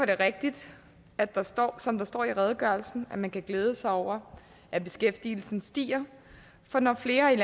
det rigtigt at der står som der står i redegørelsen at man kan glæde sig over at beskæftigelsen stiger for når flere